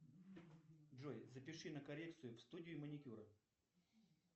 джой запиши на коррекцию в студию маникюра